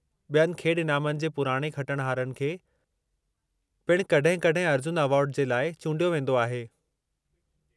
बि॒यनि खेॾ इनामनि जे पुराणे खटिणहारनि खे पिण कड॒हिं-कड॒हिं अर्जुन एवार्डु जे लाइ चूंडियो वेंदो आहे।